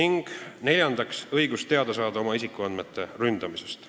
Neljandaks on inimesel õigus saada teada oma isikuandmete ründamisest.